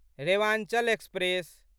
Rewanchal express